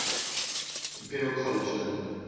imperial college london